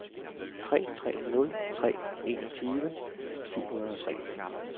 tre tre nul tre enogtyve syv hundrede og tre